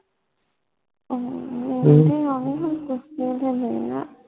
ਸੁਸਤੀ ਹੋਣੀ ਹੁਣ ਸੁਸਤੀ ਦੇ ਦਿਨ ਹੈ